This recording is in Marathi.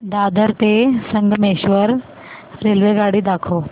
दादर ते संगमेश्वर रेल्वेगाडी दाखव